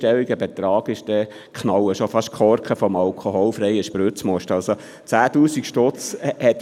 Bei uns ist es so, dass fast schon die Korken des alkoholfreien Spritzmosts knallen, wenn ein vierstelliger Betrag eintrifft.